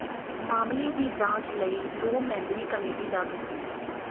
ਮਾਮਲੇ ਦੀ ਜਾਂਚ ਲਈ ਦੋ ਮੈਂਬਰੀ ਕਮੇਟੀ ਦਾ ਗਠਨ